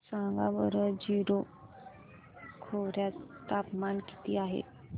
सांगा बरं जीरो खोर्यात तापमान किती आहे